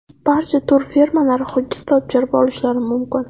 Barcha turfirmalari hujjat topshirib olishlari mumkin.